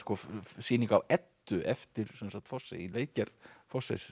sýning á Eddu eftir Fosse í leikgerð